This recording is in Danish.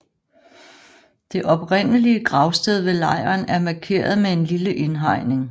Det oprindelige gravsted ved lejren er markeret med en lille indhegning